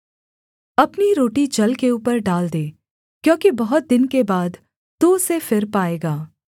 अपनी रोटी जल के ऊपर डाल दे क्योंकि बहुत दिन के बाद तू उसे फिर पाएगा